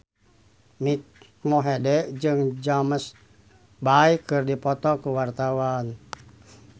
Mike Mohede jeung James Bay keur dipoto ku wartawan